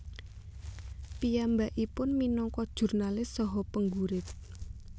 Piyambakipun minangka jurnalis saha penggurit